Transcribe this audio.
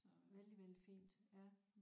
Vældig vældig fint ja